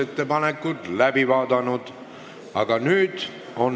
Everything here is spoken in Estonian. Istungi lõpp kell 14.55.